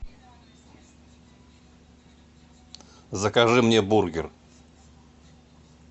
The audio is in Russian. закажи мне бургер